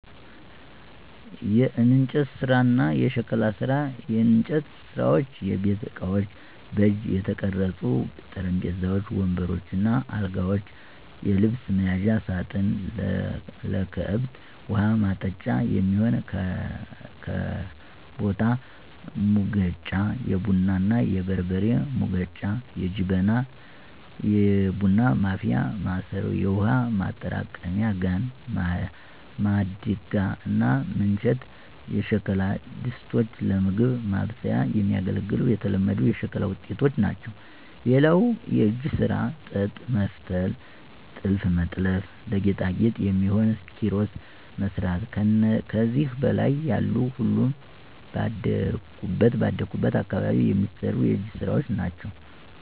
**የእንጨት ስራ እና የሸክላ ስራ፦ *የእንጨት ስራዎች * የቤት እቃዎች: በእጅ የተቀረጹ ጠረጴዛዎች፣ ወንበሮች እና አልጋዎች፣ የልብስ መያዣ ሳጥን፣ ለከብት ውሀ ማጠጫ የሚሆን ከበታ፣ ሙገጫ(የቡና እና የበርበሬ መውገጫ) ጀበና (የቡና ማፍያ ማሰሮ)፣ የውሃ ማጠራቀሚያ ጋን፣ ማድጋ እና ምንቸት የሸክላ ድስቶች ለምግብ ማብሰያ የሚያገለግሉ የተለመዱ የሸክላ ውጤቶች ናቸው። *ሌላው የእጅ ስራ ጥጥ መፍተል *ጥልፍ መጥለፍ *ለጌጣጌጥ የሚሆኑ ኪሮስ መስራት ከዚህ በላይ ያሉ ሁሉም ባደኩበት አካባቢ የሚሰሩ የእጅ ስራወች ናቸው።